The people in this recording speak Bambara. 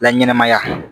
La ɲɛnamaya